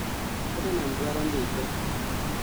tottenham dwaro ndike